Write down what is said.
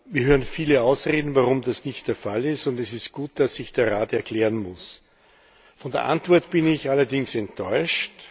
Wir hören viele Ausreden, warum das nicht der Fall ist, und es ist gut, dass sich der Rat erklären muss. Von der Antwort bin ich allerdings enttäuscht.